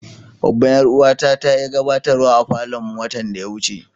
Babban yar uwa ta ta yi gabatarwa a falon mu watan da ya wuce.